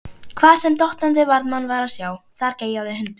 Hvar sem dottandi varðmann var að sjá, þar geyjaði hundur.